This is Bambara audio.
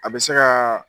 A bɛ se ka